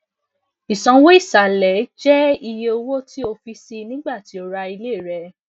isanwo isalẹ isanwo isalẹ jẹ iye owo ti ti o fi sii nigbati o ra ile rẹ